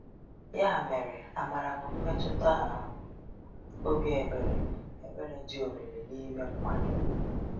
Ya mere, amara bụ mmetụta um obi ebere ebere dị omimi n’ime mmadụ.